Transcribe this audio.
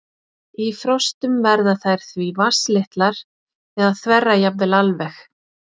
Í frostum verða þær því vatnslitlar eða þverra jafnvel alveg.